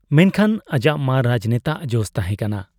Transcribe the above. ᱢᱮᱱᱠᱷᱟᱱ ᱟᱡᱟᱜ ᱢᱮ ᱨᱟᱡᱽᱱᱮᱛᱟᱜ ᱡᱚᱥ ᱛᱟᱦᱮᱸ ᱠᱟᱱᱟ ᱾